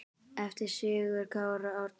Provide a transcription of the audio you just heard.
eftir Sigurð Kára Árnason